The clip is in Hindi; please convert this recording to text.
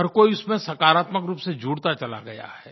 हर कोई उसमें सकारात्मक रूप से जुड़ता चला गया है